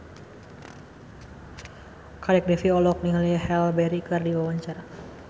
Kadek Devi olohok ningali Halle Berry keur diwawancara